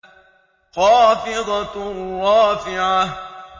خَافِضَةٌ رَّافِعَةٌ